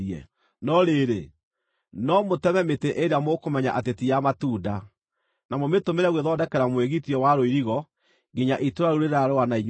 No rĩrĩ, no mũteme mĩtĩ ĩrĩa mũkũmenya atĩ ti ya matunda, na mũmĩtũmĩre gwĩthondekera mwĩgitio wa rũirigo nginya itũũra rĩu rĩrarũa na inyuĩ rĩgwe.